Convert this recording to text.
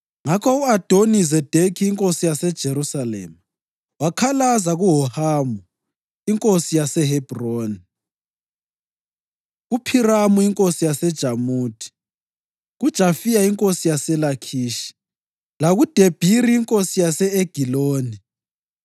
Ngakho u-Adoni-Zedekhi inkosi yaseJerusalema wakhalaza kuHohamu inkosi yaseHebhroni, kuPhiramu inkosi yaseJamuthi, kuJafiya inkosi yaseLakhishi lakuDebhiri inkosi yase-Egiloni.